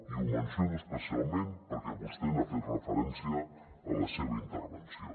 i ho menciono especialment perquè vostè n’ha fet referència a la seva intervenció